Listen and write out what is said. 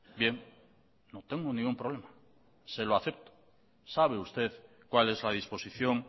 bien no tengo ningún problema se lo acepto sabe usted cual es la disposición